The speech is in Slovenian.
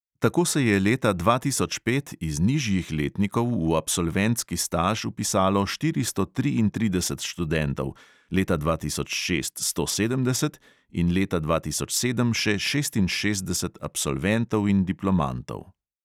Tako se je leta dva tisoč pet iz nižjih letnikov v absolventski staž vpisalo štiristo triintrideset študentov, leta dva tisoč šest sto sedemdeset in leta dva tisoč sedem še šestinšestdeset absolventov in diplomantov.